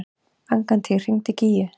Angantýr, hringdu í Gígju.